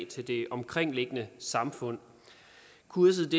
til det omkringliggende samfund kurset